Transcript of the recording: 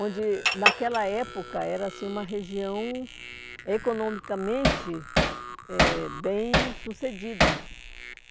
onde naquela época era-se uma região economicamente eh bem sucedida.